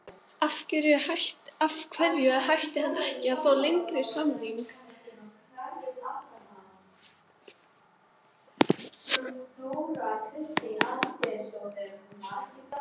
Af hverju ætti hann ekki að fá lengri samning?